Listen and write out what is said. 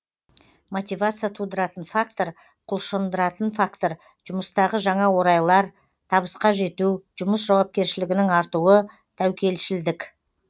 мотивация тудыратын фактор құлшындыратын фактор жұмыстағы жаңа орайлар табысқа жету жұмыс жауапкершілігінің артуы тәукелшілдік